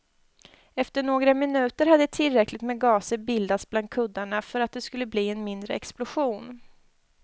Efter några minuter hade tillräckligt med gaser bildats bland kuddarna för att det skulle bli en mindre explosion.